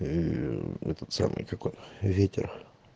м этот самый какой ветер